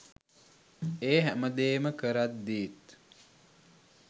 ඒ හැමදේම කරද්දීත්